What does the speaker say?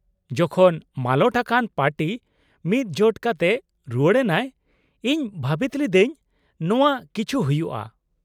-ᱡᱚᱠᱷᱚᱱ ᱢᱟᱞᱚᱴ ᱟᱠᱟᱱ ᱯᱟᱨᱴᱤ ᱢᱤᱫᱡᱳᱴ ᱠᱟᱛᱮ ᱨᱩᱣᱟᱹᱲ ᱮᱱᱟᱭ, ᱤᱧ ᱵᱷᱟᱹᱵᱤᱛ ᱞᱤᱫᱟᱹᱧ ᱱᱟᱣᱟ ᱠᱤᱪᱷᱩ ᱦᱩᱭᱩᱜᱼᱟᱹᱹᱹ